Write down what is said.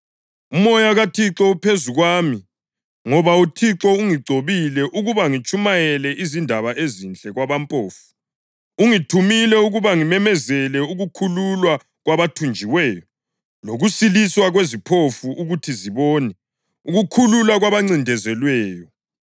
“Umoya kaThixo uphezu kwami, ngoba uThixo ungigcobile ukuba ngitshumayele izindaba ezinhle kwabampofu. Ungithumile ukuba ngimemezele ukukhululwa kwabathunjiweyo lokusiliswa kweziphofu ukuthi zibone, ukukhululwa kwabancindezelweyo,